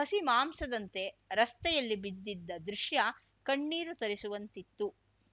ಹಸಿ ಮಾಂಸದಂತೆ ರಸ್ತೆಯಲ್ಲಿ ಬಿದ್ದಿದ್ದ ದೃಶ್ಯ ಕಣ್ಣೀರು ತರಿಸುವಂತಿತ್ತು